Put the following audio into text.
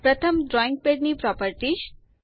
પ્રથમ ડ્રોઈંગ પેડની પ્રોપેરટીશ